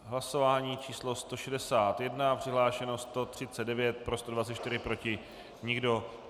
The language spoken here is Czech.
Hlasování číslo 161, přihlášeno 139, pro 124, proti nikdo.